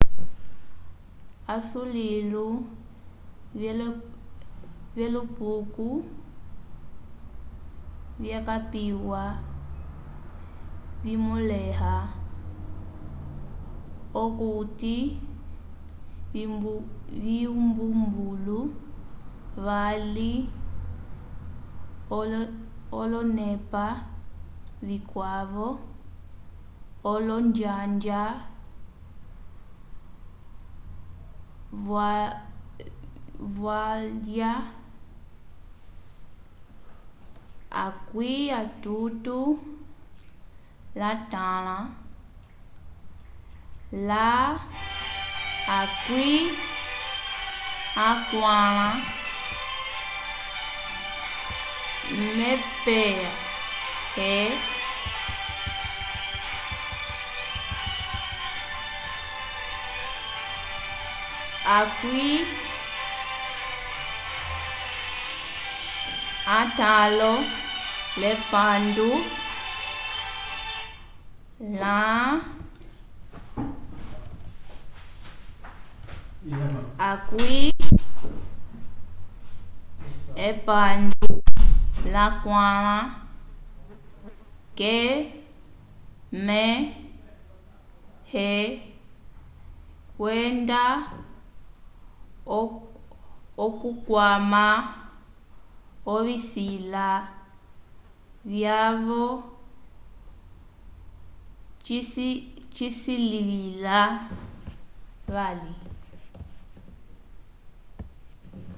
asulilo vyelupuko vyakapiwa vimõleha okuti vyumbumbulu vali olonepa vikwavo - olonjanja vyalwa 35-40 mph 56-64km/h – kwenda okukwama ovisila vyavo cisilivila vali